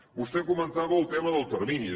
vostè comentava el tema dels terminis